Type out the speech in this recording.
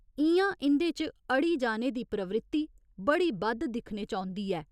इ'यां इं'दे च अड़ी जाने दी प्रवृत्ति बड़ी बद्ध दिक्खने च औंदी ऐ।